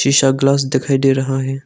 Glass दिखाई दे रहा है।